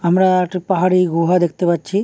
আম-রা একটি পাহাড়ি গুহা দেখতে পাচ্ছি।